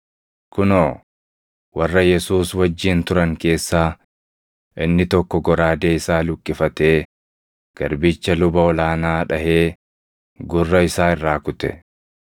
Kunoo, warra Yesuus wajjin turan keessaa inni tokko goraadee isaa luqqifatee garbicha luba ol aanaa dhaʼee gurra isaa irraa kute.